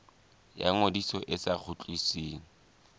ya ngodiso e sa kgutlisweng